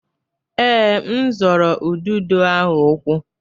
Ee, m zọrọ ududo ahụ ụkwụ.